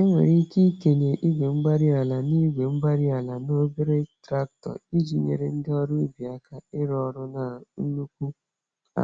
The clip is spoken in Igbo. Enwere ike ikenye igwe-mgbárí-ala na igwe-mgbárí-ala na obere traktọ, iji nyèrè ndị ọrụ ubi àkà ịrụ ọrụ na nnukwu